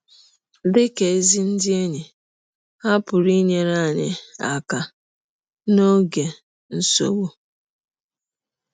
Dị ka ‘ ezi ndị enyi, ’’ ha pụrụ inyere anyị aka n’ọge nsọgbụ.